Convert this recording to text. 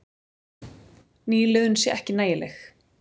Nýliðun sé ekki nægileg.